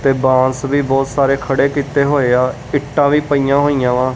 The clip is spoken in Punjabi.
ਤੇ ਬਾਂਸ ਵੀ ਬਹੁਤ ਸਾਰੇ ਖੜੇ ਕੀਤੇ ਹੋਏ ਆ ਇੱਟਾਂ ਵੀ ਪਈਆਂ ਹੋਈਆਂ ਵਾ।